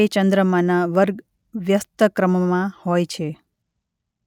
તે ચંદ્રમાના વર્ગ વ્યસ્તક્રમમાં હોય છે.